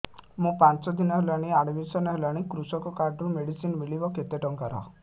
ମୁ ପାଞ୍ଚ ଦିନ ହେଲାଣି ଆଡ୍ମିଶନ ହେଲିଣି କୃଷକ କାର୍ଡ ରୁ ମେଡିସିନ ମିଳିବ କେତେ ଟଙ୍କାର